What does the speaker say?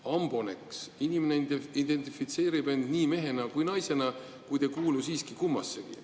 Ambonec – inimene identifitseerib end nii mehena kui ka naisena, kuid ei kuulu siiski kummassegi.